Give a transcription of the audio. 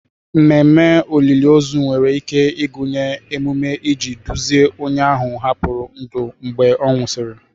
Ememe olili ozu nwere ike ịgụnye emume iji duzie onye ahụ hapụrụ ndụ mgbe a nwụsịrị.